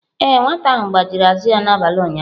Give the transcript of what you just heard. Ee, nwata ahụ gbajiri azụ ya n'abalị ụnyaahụ.